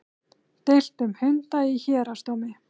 Deilt um hunda í héraðsdómi